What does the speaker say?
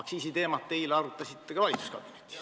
Aktsiisiteemat arutasite te eile ka valitsuskabinetis.